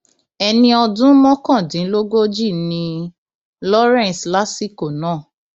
ẹni ọdún mọkàndínlógójì ni lawrence lásìkò náà